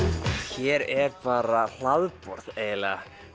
hér er bara hlaðborð eiginlega